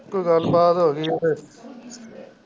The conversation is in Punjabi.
ਕੋਈ ਗੱਲ ਬਾਤ ਹੋ ਗਈ ਫੇਰ।